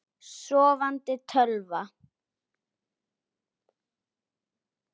Sofandi tölva.